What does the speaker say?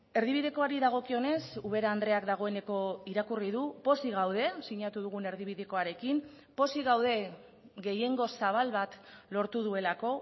erdibidekoari dagokionez ubera andreak dagoeneko irakurri du pozik gaude sinatu dugun erdibidekoarekin pozik gaude gehiengo zabal bat lortu duelako